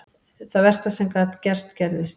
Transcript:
Það versta sem gat gerst gerðist.